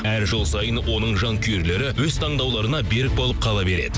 әр жыл сайын оның жанкүйерлері өз таңдауларына берік болып қала береді